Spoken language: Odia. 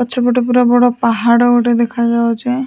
ପଛ ପଟେ ପୁରା ପାହାଡ଼ ଅଛି ।